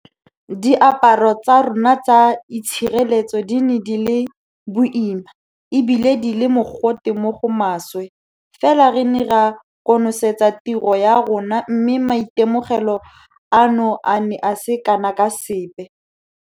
Diaparo tsa rona tsa itshireletso di ne di le boima e bile di le mogote mo go maswe fela re ne ra konosetsa tiro ya rona mme maitemogelo ano a ne a se kana ka sepe.